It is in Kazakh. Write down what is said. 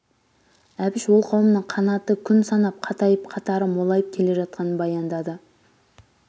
әбіш ол қауымның қанаты күн санап қатайып қатары молайып келе жатқанын баяндады